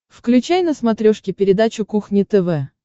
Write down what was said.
включай на смотрешке передачу кухня тв